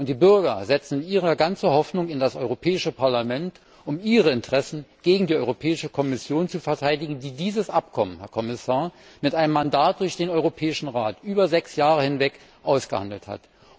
Die Bürger setzen ihre ganze Hoffnung in das Europäische Parlament, um ihre Interessen gegen die Europäische Kommission zu verteidigen, die dieses Abkommen, Herr Kommissar, mit einem Mandat des Europäischen Rats über sechs Jahre hinweg ausgehandelt hat.